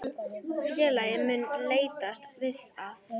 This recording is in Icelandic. Félagið mun leitast við að